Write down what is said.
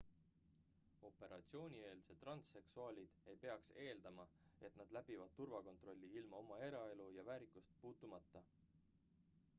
operatsioonieelsed transseksuaalid ei peaks eeldama et nad läbivad turvakontrolli ilma oma eraelu ja väärikust puutumata